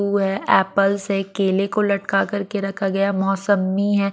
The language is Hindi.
है एप्पल्स है केले को लटका कर के रखा गया मौसममी है।